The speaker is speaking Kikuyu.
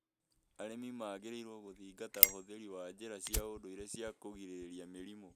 Arĩmi magĩrĩirũo gũthingata ũhũthĩri wa njĩra cia ũndũire cia kũgirĩrĩria mĩrimũ.